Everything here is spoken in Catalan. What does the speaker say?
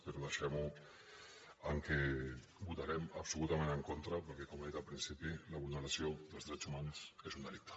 però deixem ho en el fet que votarem absolutament en contra perquè com he dit al principi la vulneració dels drets humans és un delicte